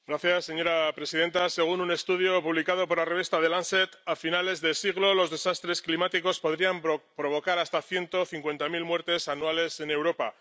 Señora presidenta, según un estudio publicado por la revista a finales de siglo los desastres climáticos podrían provocar hasta ciento cincuenta mil muertes anuales en Europa.